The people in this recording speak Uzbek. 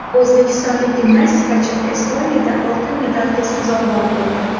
O‘zbekistonlik gimnastikachi Estoniyada oltin medalga sazovor bo‘ldi.